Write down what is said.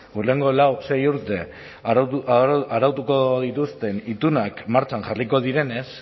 hurrengo lau sei urte arautuko dituzten itunak martxan jarriko direnez